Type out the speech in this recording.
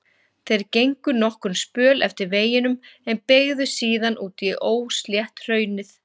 Þeir gengu nokkurn spöl eftir veginum en beygðu síðan út í óslétt hraunið.